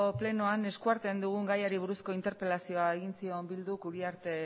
plenoan eskuartean dugun gaiari buruzko interpelazioa egin zion bilduk uriarte